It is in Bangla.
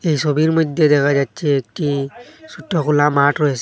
এই ছবির মইধ্যে দেখা যাচ্ছে একটি ছোট্ট খোলা মাঠ রয়েসে।